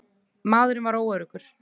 Maðurinn varð óöruggur.